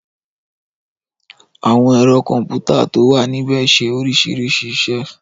Àwọn ẹ̀rọ kọ̀m̀pútà tó wà níbẹ̀ ṣe oríṣiríṣi iṣẹ́.